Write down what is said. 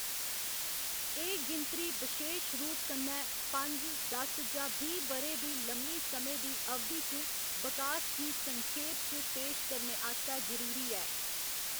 एह्‌‌ गिनतरी बशेश रूप कन्नै पंज, दस जां बीह्‌ ब'रें दी लम्मी समें दी अवधि च बकास गी संखेप च पेश करने आस्तै जरूरी ऐ।